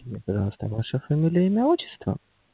ваша фамилия имя отчество